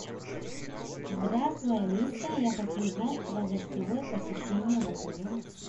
здравствуй алиса я хочу узнать про гостевое посещение в отеле